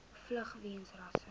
vlug weens rasse